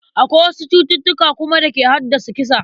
Akwai wasu cututtuka kuma da ke haddasa kisa.